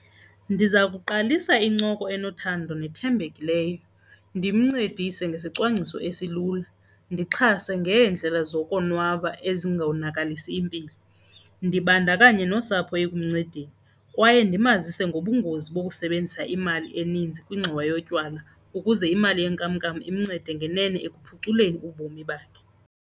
Ndiza kuqalisa incoko enothando nethembekileyo, ndimncedise ngesicwangciso esilula, ndixhase ngeendlela zokonwaba ezingonakalisi mpilo, ndibandakanye nosapho ekuncedeni. Kwaye ndimazise ngobungozi bokusebenzisa imali eninzi kwingxowa yotywala ukuze imali yenkamnkam imncede ngenene ekuphuculeni ubomi bakhe.